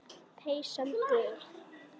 Peysan gul.